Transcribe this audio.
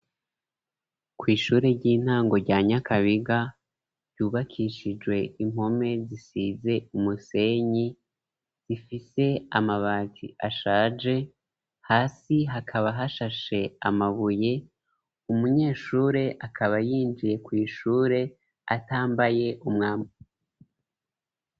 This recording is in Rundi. Kw,ishure ry'intango rya Nyakabiga ryubakishijwe impome zisize umusenyi, zifise amabati ashaje, hasi hakaba hashashe amabuye, umunyeshure akaba yinjiye kw,ishure atambaye umwami.